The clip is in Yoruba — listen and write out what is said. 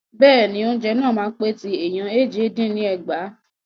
Bẹ́ẹ̀ni, oúnjẹ náà máa pè ti ẹ̀ẹ̀yàn éje dín ní ẹgbàá.